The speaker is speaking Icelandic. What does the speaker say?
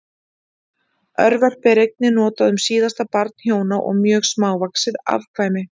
Örverpi er einnig notað um síðasta barn hjóna og mjög smávaxið afkvæmi.